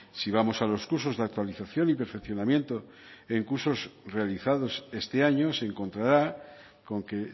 si vamos a los cursos de actualización y perfeccionamiento en cursos realizados este año se encontrará con que